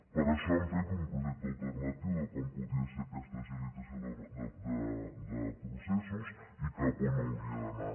per això hem fet un projecte alternatiu de com podia ser aquesta agilitació de processos i cap a on hauria d’anar